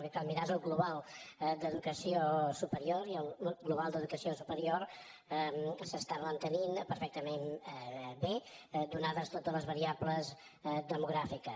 el que cal mirar és el global d’educació superior i el global d’educació superior s’està mantenint perfectament bé ateses totes les variables demogràfiques